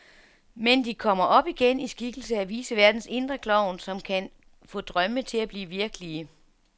Men de kommer op igen, i skikkelse af viceværtens indre klovn, som kan få drømme til at blive virkelige.